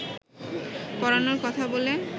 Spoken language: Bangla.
পড়ানোর কথা বলে